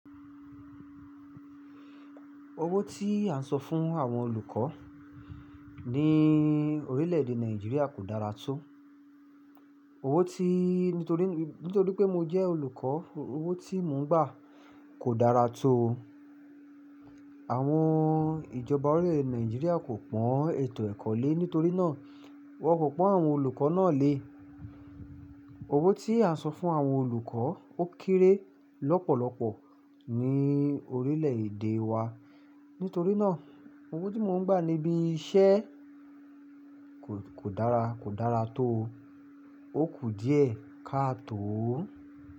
Owó tí à ń san fún àwọn olùkọ́ ní orílẹ̀èdè Nàìjíríà kò dára tó. Owó tí— nítorí, nítorí pé mo jẹ́ olùkọ́, owó tí mò ń gbà kò dára tó. Àwọn ìjọba orílẹ̀ Nàìjíríà kò pọ́n ètò ẹ̀kọ́ lé, nítorí náà wọ́n kò pọ́n àwọn olùkọ́ náà lé. Owó tí à ń san fún àwọn olùkọ́ ó kéré lọ́pọ̀lọpọ̀ ní orílẹ̀èdè wa. Nítorí náà owó tí mò ń gbà níbí iṣẹ́ kò, kò dára, kò dára tó o. Ó kù díẹ̀ ká tó ó.